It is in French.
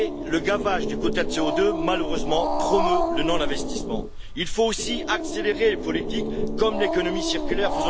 Le gavage de quotas de CO2, malheureusement, promeut le non investissement. Il faut aussi accélérer les politiques comme l'économie circulaire.